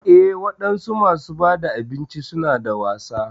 Eh wadansu masu bada abinci suna da wasa.